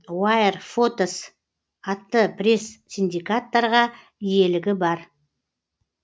уайрфотос атты пресс синдикаттарға иелігі бар